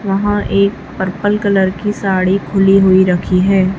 वहां एक purple colour की साड़ी खुली हुई रखी है।